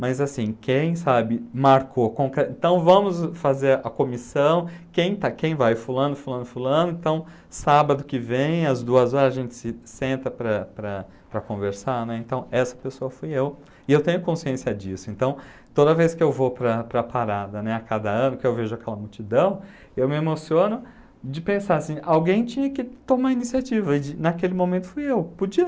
Mas assim, quem sabe, marcou, com que, então vamos fazer a comissão, quem está quem vai fulano, fulano, fulano, então sábado que vem, às duas horas, a gente se senta para para conversar, né, então essa pessoa fui eu, e eu tenho consciência disso, então toda vez que eu vou para a para a parada, né, a cada ano que eu vejo aquela multidão, eu me emociono de pensar assim, alguém tinha que tomar iniciativa, e de naquele momento fui eu, podia